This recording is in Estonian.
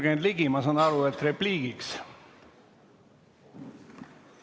Jürgen Ligi, ma saan aru, et repliigiks, kuna nimi mainiti.